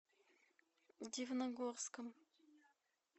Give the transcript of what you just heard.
дивногорском